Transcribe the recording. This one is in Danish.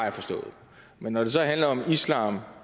jeg forstået men når det så handler om islam